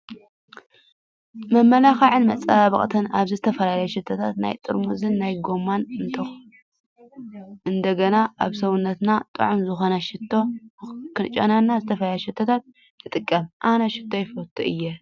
መመላኽዕን መፃባበቅትን፦ ኣብዚ ዝተፈላለዩ ሽቶታት ናይ ጥርሙዝን ናይ ጎማን እንትጎና ኣብ ሰብነትና ጥዑም ዝኮነ ሽታ(ክንጨኑ) ዝተፈላለዩ ሽቶታት ንጥቀም። ኣነ ሽቶ ይፈቱ እየ።